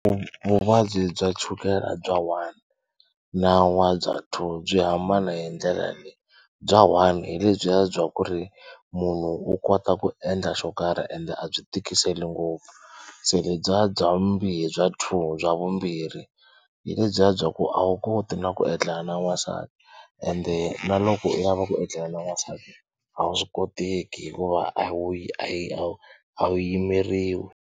Vuvabyi bya chukela bya one na n'wa bya two byi hambana hi ndlela leyi bya one hi lebyiya bya ku ri munhu u kota ku endla xo karhi ende a byi tikiseli ngopfu. Se lebya bya bya two bya vumbirhi hi lebyiya bya ku a wu koti na ku etlela na n'wansati ende na loko u lava ku etlela na n'wansati a swi koteki hikuva a wu yi a yi a wu a wu yimeriwi.